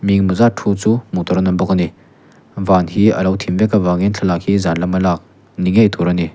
mi eng emaw zat thu chu hmuh tur an awm bawk a ni van hi a lo thim vek a vang in thlalak hi zan lam a lak ni ngei tur a ni.